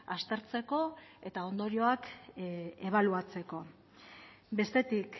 aztertzeko eta ondorioak ebaluatzeko bestetik